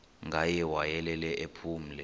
ngaye wayelele ephumle